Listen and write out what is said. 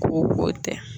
Ko o tɛ